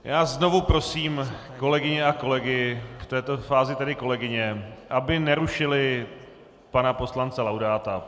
Já znovu prosím kolegyně a kolegy, v této fázi tedy kolegyně, aby nerušily pana poslance Laudáta.